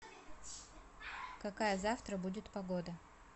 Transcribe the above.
какая завтра будет погода